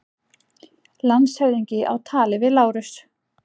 Landshöfðingi á tali við Lárus.